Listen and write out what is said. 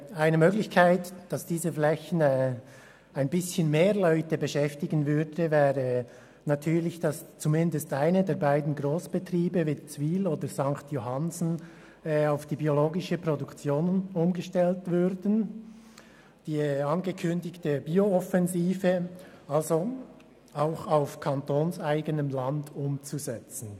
Eine Möglichkeit, auf diesen Flächen etwas mehr Personen zu beschäftigen, bestünde darin, zumindest einen der beiden Grossbetriebe Witzwil und St. Johannsen auf die biologische Produktion umzustellen und die angekündigte Bio-Offensive also auch auf kantonseigenem Land umzusetzen.